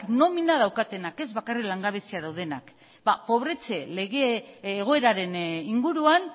nomina daukatenak ez bakarrik langabezian daudenak ba pobretze lege egoeraren inguruan